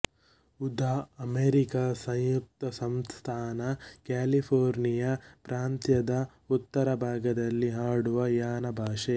ಉದಾ ಅಮೆರಿಕ ಸಂಯುಕ್ತ ಸಂಸ್ಥಾನ ಕ್ಯಾಲಿಫೋರ್ನಿಯ ಪ್ರಾಂತ್ಯದ ಉತ್ತರ ಭಾಗದಲ್ಲಿ ಆಡುವ ಯನ ಭಾಷೆ